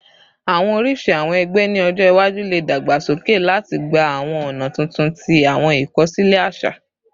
Awọn oriṣi awọn ẹgbẹ ni ọjọ iwaju le dagbasoke lati gba awọn ọna tuntun ti awọn ikosile aṣa